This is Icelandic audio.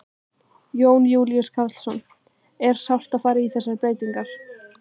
Jón Júlíus Karlsson: Er sárt að fara í þessar breytingar?